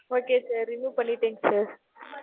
okay, sir. remove பண்ணிரன் sir